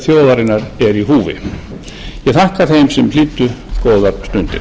þjóðarinnar er í húfi ég þakka þeim sem hlýddu góðar stundir